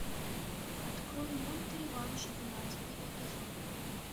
открой мульт реванш двенадцатый эпизод